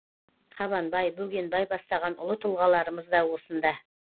қабанбай бөгенбай бастаған ұлы тұлғаларымыз да осында